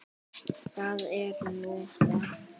Það er nú það?